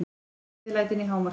Gleðilætin í hámarki.